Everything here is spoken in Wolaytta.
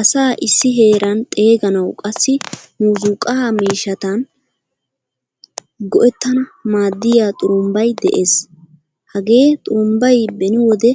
Asa issi heeran xeeganawu qassi muuzzuqqa miishshatan go'ettan maadiyaa xurumbbay de'ees. Hagee xurumbbay beni wode